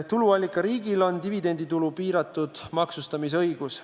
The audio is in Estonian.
Tuluallikariigil on dividenditulu piiratud maksustamise õigus.